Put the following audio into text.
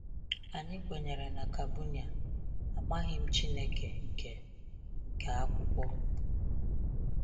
Anyị kwenyere na Kabunian, amaghị m Chineke nke nke akwụkwọ.